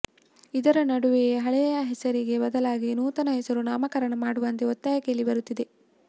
ಇದರ ನಡುವೆಯೇ ಹಳೆಯ ಹೆಸರಿಗೆ ಬದಲಾಗಿ ನೂತನ ಹೆಸರು ನಾಮಕರಣ ಮಾಡುವಂತೆ ಒತ್ತಾಯ ಕೇಳಿ ಬರುತ್ತಿದೆ